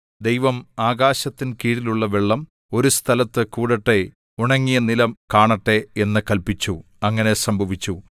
ദൈവം ആകാശത്തിൻ കീഴുള്ള വെള്ളം ഒരു സ്ഥലത്തു കൂടട്ടെ ഉണങ്ങിയ നിലം കാണട്ടെ എന്ന് കല്പിച്ചു അങ്ങനെ സംഭവിച്ചു